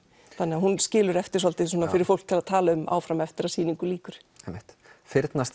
þannig að hún skilur eftir svolítið fyrir fólk að tala um áfram eftir að sýningu lýkur einmitt